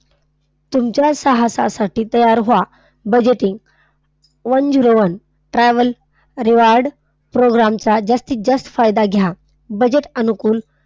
तुमच्या साहसासाठी तयार व्हा. budgeting. one zero one travel reward program चा जास्तीत जास्त फायदा घ्या. budget अनुकूल,